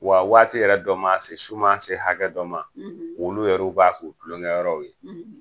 Wa waati yɛrɛ dɔ ma se su maa se hakɛ dɔ ma wu yɛrɛ b'a kɛ u kulonkɛyɔrɔw ye